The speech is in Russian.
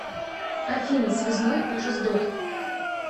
афина связной уже сдох